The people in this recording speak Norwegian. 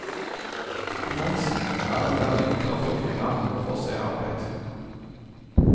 Tendensen er at det er enklere for kvinner å få seg arbeid.